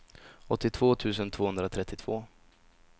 åttiotvå tusen tvåhundratrettiotvå